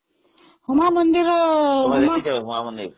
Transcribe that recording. ଉମା ମନ୍ଦିରରେ ତୁମେ ଦେଖିଛ ଉମା ମନ୍ଦିର ?